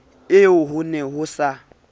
eo ho ne ho sa